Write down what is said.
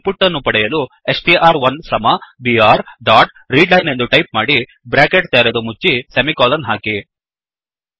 ಇನ್ ಪುಟ್ ಅನ್ನು ಪಡೆಯಲು ಸ್ಟ್ರ್1 ಸಮ ಬಿಆರ್ ಡಾಟ್ ರೀಡ್ಲೈನ್ ಎಂದು ಟೈಪ್ ಮಾಡಿ ಬ್ರ್ಯಾಕೆಟ್ ತೆರೆದು ಮುಚ್ಚಿ ಸೆಮಿಕೋಲನ್ ಹಾಕಿ